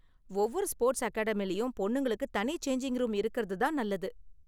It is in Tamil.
ஒவ்வொரு ஸ்போர்ட்ஸ் அகாடமிலயும் பொண்ணுங்களுக்கு தனி சேஞ்சிங் ரூம் இருக்குறது தான் நல்லது.